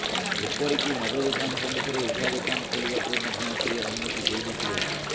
ଏପରିକି ମଦ ଦୋକାନ ସମ୍ମୁଖରେ ଉଠା ଦୋକାନ ଖୋଲିବାକୁ ମଧ୍ୟ ସେ ଅନୁମତି ଦେଇ ନ ଥିଲେ